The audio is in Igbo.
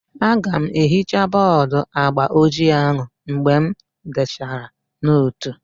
Aga m ehichaa bọọdu agba ojii ahụ mgbe m dechara nootu